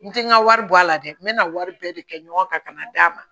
N tɛ n ka wari bɔ a la dɛ n bɛna wari bɛɛ de kɛ ɲɔgɔn kan ka na d'a ma